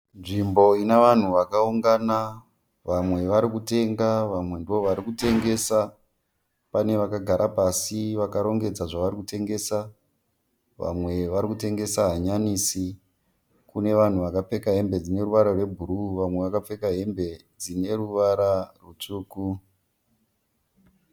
Nzvimbo ine vanhu vakakungana. Vamwe vari kutenga vamwe ndovari kutengesa. Pane vakagara pasi vakarongedza zvari kutengesa. Vamwe vari kutengesa hanyanisi. Kune vanhu vakapfeka hembe dzine ruvara rwebhuru vamwe vakapfeka hembe dzine ruvara rutsvuku.